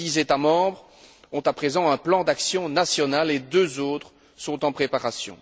Dix États membres ont à présent un plan d'action national et deux autres sont en préparation.